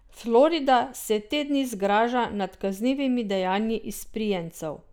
Florida se te dni zgraža nad kaznivimi dejanji izprijencev.